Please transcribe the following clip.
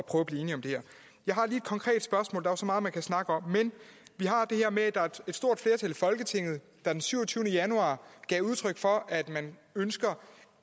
at blive enige om det jeg har lige et konkret spørgsmål der er jo så meget man kan snakke om men der er et stort flertal i folketinget der den syvogtyvende januar gav udtryk for at man ønsker